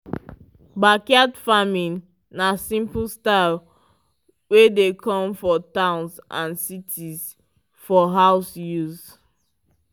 backyard farming na simple style wey dey come for towns and cities for house use